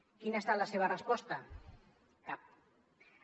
quina ha estat la seva resposta cap